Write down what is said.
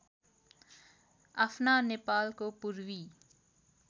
आफ्ना नेपालको पूर्वी